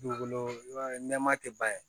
Dugukolo i b'a ye nɛma tɛ ban ye